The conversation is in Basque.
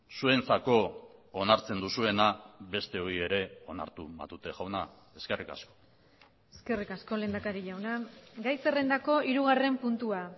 zuentzako onartzen duzuena besteoi ere onartu matute jauna eskerrik asko eskerrik asko lehendakari jauna gai zerrendako hirugarren puntua